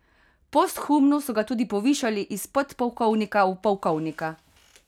Posthumno so ga tudi povišali iz podpolkovnika v polkovnika.